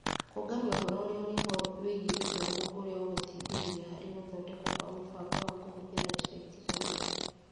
Kũũngania ũhoro ũrĩa ũrĩ ho wĩgiĩ gĩthomo ũrĩa ũgũteithĩrĩria harĩ gũthondekwo kwa mũbango wa kũhũthĩra njĩra itiganĩte.